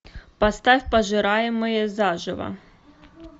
поставь пожираемые заживо